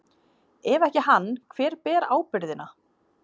Ef ekki hann, hver ber ábyrgðina?